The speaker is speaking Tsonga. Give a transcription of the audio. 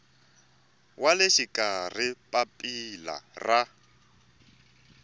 wa le xikarhi papila ra